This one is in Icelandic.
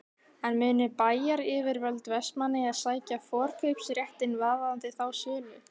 En munu bæjaryfirvöld Vestmannaeyja sækja forkaupsréttinn varðandi þá sölu?